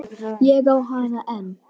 Ég á hana enn.